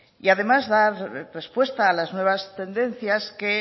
y además da respuesta a las nuevas tendencias que